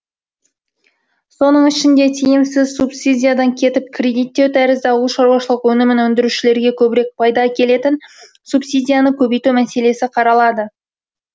соның ішінде тиімсіз субсидиядан кетіп кредиттеу тәрізді ауылшаруашылық өнімін өндірушілерге көбірек пайда әкелетін субсидияны көбейту мәселесі қаралады